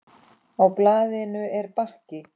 Á blaðinu er bakki.